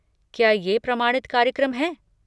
क्या ये प्रमाणित कार्यक्रम हैं?